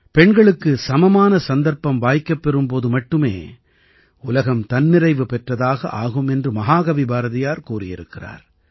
பெண்களுக்கு சமமான சந்தர்ப்பம் வாய்க்கப்பெறும் போது மட்டுமே உலகம் தன்னிறைவு பெற்றதாக ஆகும் என்று மகாகவி பாரதியார் கூறியிருக்கிறார்